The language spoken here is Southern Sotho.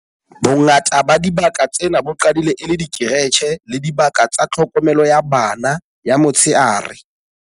Bongata ba dibaka tsena bo qadile e le dikeretjhe le dibaka tsa tlhokomelo ya bana ya motsheare.